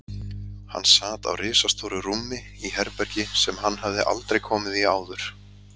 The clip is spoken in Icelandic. Hann sat á ristastóru rúmi í herbergi sem hann hafði aldrei komið í áður.